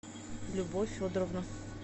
любовь федоровна